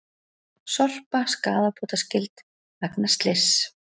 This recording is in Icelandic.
Sorpa skaðabótaskyld vegna slyss